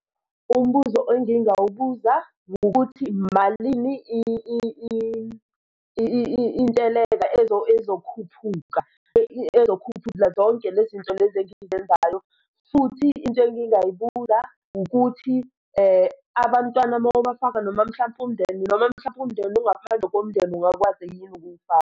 Umbuzo engingawubuza ngokuthi malini intelaza ezokhuphuka ezokukhuphuka zonke lezi nto lezi engizenzayo? Futhi into engingayibuza ukuthi abantwana uma ubafaka noma mhlampe umndeni noma mhlampe umndeni ongaphandle komndeni ungakwazi yini ukuwufaka?